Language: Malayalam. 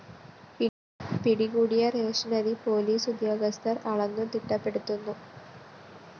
പിടികൂടിയ റേഷനിരി പോലീസ് ഉദ്യോഗസ്ഥര്‍ അളന്നു തിട്ടപ്പെട്ടുത്തുന്നു